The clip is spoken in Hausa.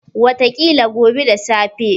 Wataƙila gobe da safe.